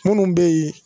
Minnu bɛ yen